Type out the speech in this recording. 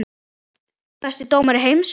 Besti dómari heims?